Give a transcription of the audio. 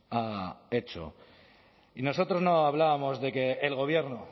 ha hecho y nosotros no hablábamos de que el gobierno